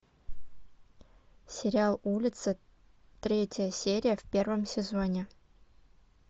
сериал улица третья серия в первом сезоне